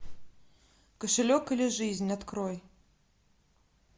кошелек или жизнь открой